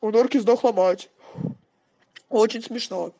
у норки сдохла мать очень смешно